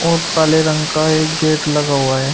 और काले रंग का एक गेट लगा हुआ है।